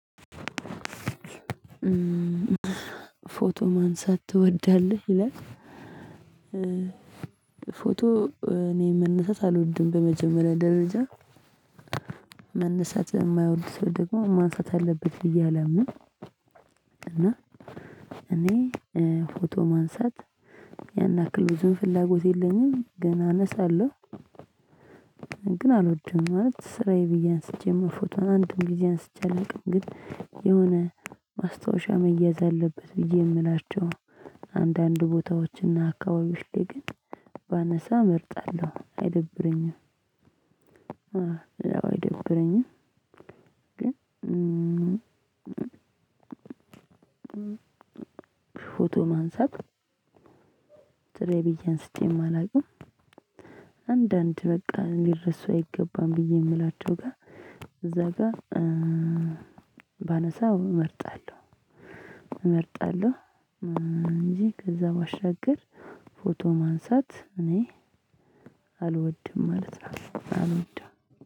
ፎቶ ማንሳት ትወዳለህ ይላል? ፎቶ እኔ መነሳት አልወድም በመጀመሪያ ደረጃ መነሳት የማይወድ ሰው ደግሞ ማንሳት አለበት ብዬ አላምንም። እና እኔ ፎቶ ማንሳት ያን ያክል ብዙም ፍላጎት የለኝም ገና አነሳለሁ። ግን አልወድም ማለት ስራዬ ብዬ አንስቼ መ ፎቶን አንድም ጊዜ አንስቼ አላውቅም። ግን የሆነ ማስታወሻ መያዝ አለበት ብዬ የምላቸው አንዳንድ ቦታዎችና አካባቢዎች ላይ ግን ባነሳ እመርጣለሁ አይደብረኝም። አይደብረኝም ግን ፎቶ ማንሳት ሥረዬ ብዬ አንስቼም አላውቅም። አንዳንድ በቃ ሊረሱ አይገባም ብዬ የምላቸው ጋ እዛ ጋ ባነሳው እመርጣለሁ እመርጣለሁ። እንጂ ከዛ ባሻገር ፎቶ ማንሳት እኔ አልወድም ማለት ነው አልወድም